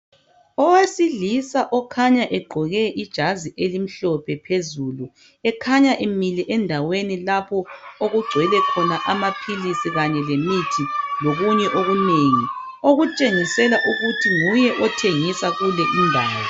Owesilisa okhanya egqoke ijazi elimhlophe phezulu ekhanya emile endaweni lapho okugcwele khona amaphilisi kanye lemithi lokunye okunengi okutshengisela ukuthi nguye othengisa kulindawo.